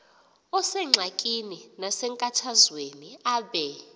osengxakini nasenkathazweni abe